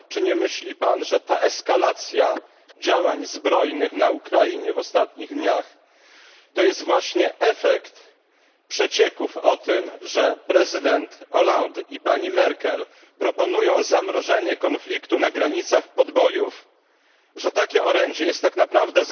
Czy nie myśli Pan, że ta eskalacja działań zbrojnych na Ukrainie w ostatnich dniach, to jest właśnie efekt przecieków o tym, że prezydent Hollande i pani Merkel proponują zamrożenie konfliktu na granicach podbojów, że takie orędzie jest tak naprawdę